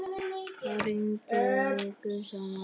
Það rigndi vikum saman.